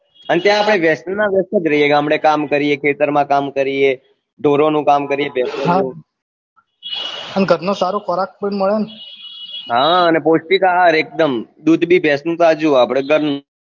અને ત્યાં આપને વય્સત ના વસ્યત જ રહીએ ગામડે કામ કરીએ ખેતર માં કામ કરીએ ઢોર નું કામ કરીએ ભેસો નું અને ઘર નો સારો ખોરાક પણ મળે ને પૌસ્તીક આહાર એક દમ દુધ ભી ભેસો નું તાજું આપને ઘર નું